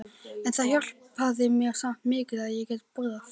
En það hjálpaði mér samt mikið að ég gat borðað.